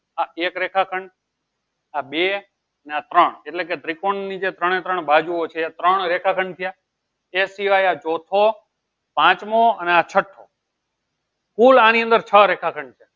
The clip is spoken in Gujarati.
આ એક રેખાખંડ આ બે અને ત્રણ એટલે કે ત્રિકોણની જે ત્રણે ત્રણ બાજુઓ છે ત્રણ રેખાખંડ થયા એથી આ ચોથો પાંચમો અને આ છઠ્ઠો કુલ આની અંદર છ રેખાખંડ